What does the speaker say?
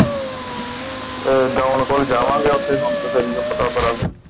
ਅਹ don ਕੋਲ ਜਾਵਾਂਗੇ। ਉਥੇ ਹੁਣ ਤਾ ਫੇਰ ਹੀ ਪਤਾ ਕਰਾਂਗੇ।